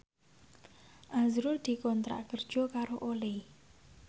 azrul dikontrak kerja karo Olay